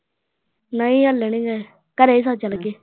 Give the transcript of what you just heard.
ਨਹੀ ਹਾਲੇ ਨਹੀ ਗਏ ਘਰ ਹੀ ਚੱਲ ਗਏ।